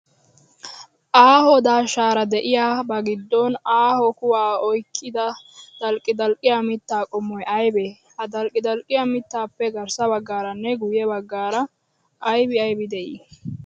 Aaho daashshaara de'iyaa, bagiddon aaho huwaa oyiqqidi dalqqidalqqiyaa mittaa qommoyi aybee? Ha dalqqidalqqiyaa mittaappe garssabaggaaranne guyye baggaara ayibi ayibi de'ii?